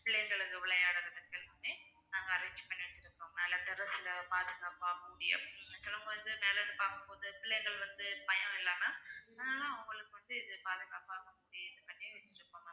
விளையாடுறதுக்கு எல்லாமே நாங்க arrange பண்ணி வச்சிருக்கோம் மேல terrace ல பாதுகாப்பா மூடி அப்படி சிலவங்க வந்து மேல இருந்து பார்க்கும் போது பிள்ளைகள் வந்து பயமில்லாம அஹ் அவங்களுக்கு வந்து இது பாதுகாப்பாக வந்து இது பண்ணி வெச்சிருக்கோம் ma'am